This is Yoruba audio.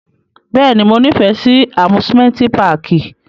Bẹ́ẹ̀ni, Mo nifẹ si amusimenti pààki.